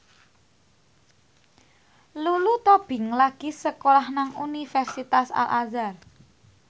Lulu Tobing lagi sekolah nang Universitas Al Azhar